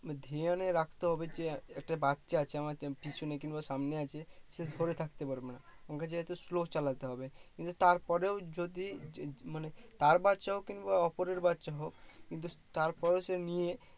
ধ্যান এ রাখতে হবে যে একটা বাচ্ছা আছে আমার পিছনে কিংবা সামনে আছে সে ধরে থাকতে পারবে না আমাকে যেহুতু slow চালাতে হবে, কিন্তু তার পরেও যদি মানে তার বাচ্ছা হোক কিংবা অপরের বাচ্ছা হোক কিন্তু তার পরেও সে নিয়ে